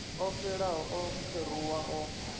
o xelaho o kheruwa o